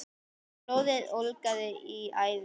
Blóðið ólgaði í æðum hans.